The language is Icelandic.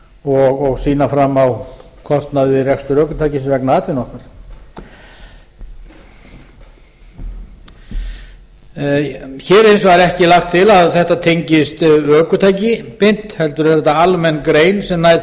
og sýna fram á kostnað við rekstur ökutækis vegna atvinnu okkar hér er hins vegar ekki lagt til að þetta tengist við ökutæki beint heldur er þetta almenn grein sem nær